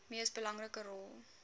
mees belangrike rol